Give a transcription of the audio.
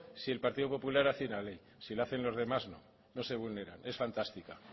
si el partido popular hace una ley si lo hacen los demás no no se vulneran es fantástica